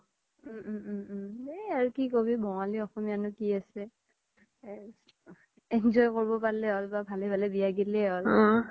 উম উম উম এই আৰ কি কবি আৰ বঙালী অসমীয়া নো কি আছে enjoy কৰব পাৰলে হ্'ল বা ভালে ভালে বিয়া গেলি হ্'ল